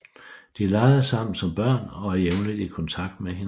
De legede sammen som børn og er jævnligt i kontakt med hinanden